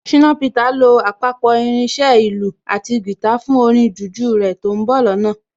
Ṣìnà Peter lo àpapọ̀ irin iṣẹ́ ìlù àti guitar fún orin jùjú rẹ̀ tó ń bọ̀ lọ́nà